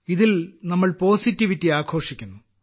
ഇതിൽ നമ്മൾ പോസിറ്റിവിറ്റി ആഘോഷിക്കുന്നു